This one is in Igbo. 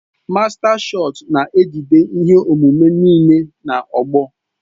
Mástá Shọọt na-ejide ihe omume niile na ogbo.